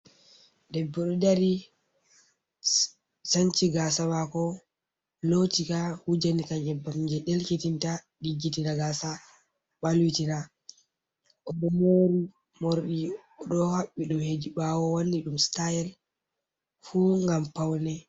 Debboɗo ɗo dari, sanci gaasa maako, looti ka, wujinika nyebbam jee ɗelkitinta, ɗiggitina gaasa ɓalwitina, oɗo moori morɗi oɗo haɓɓi ɗum hedi ɓaawo wanni ɗum stayel fuu ngam paune.